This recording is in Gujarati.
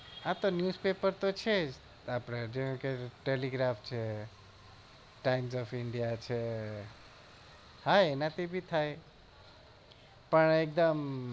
હા તો news paper છે જ આપડે જેમ કે talegraph time of india છે હા એનાથી ભી થાય પણ એકદમ